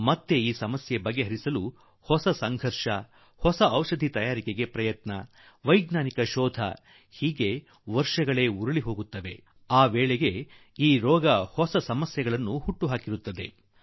ಮತ್ತೆ ಈ ಹೋರಾಟ ಮಾಡಲು ಹೊಸ ಔಷಧಿಗಳನ್ನು ತಯಾರಿಸುವುದು ವೈಜ್ಞಾನಿಕ ಶೋಧನೆ ನಡೆಸುವುದು ಇದರಲ್ಲೇ ವರ್ಷಗಳು ಉರುಳಿ ಹೋಗುತ್ತದೆ ಹಾಗೂ ಅಷ್ಟು ಹೊತ್ತಿಗೆ ಕಾಯಿಲೆಗಳು ಹೊಸ ಕಷ್ಟವನ್ನು ಹುಟ್ಟು ಹಾಕಿರುತ್ತವೆ